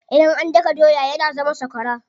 Idan an daka doya yana zama sakwara.